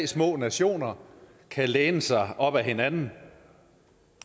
små nationer kan læne sig op ad hinanden